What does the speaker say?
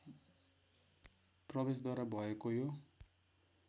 प्रवेशद्वार भएको यो